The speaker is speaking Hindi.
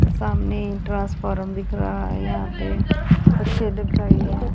सामने ही ट्रांसफॉर्म दिख रहा है यहां पे दिख रही हैं।